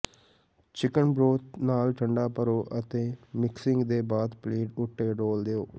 chicken broth ਨਾਲ ਠੰਢਾ ਭਰੋ ਅਤੇ ਮਿਕਸਿੰਗ ਦੇ ਬਾਅਦ ਪਲੇਟ ਉੱਤੇ ਡੋਲ੍ਹ ਦਿਓ